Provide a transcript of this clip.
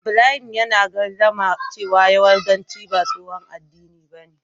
Ibrahim yana gardama cewa yahudanci ba tsohon addini bane.